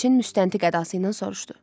Elçin müstəntiq ədası ilə soruşdu.